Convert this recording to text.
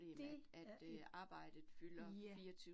Det er et, ja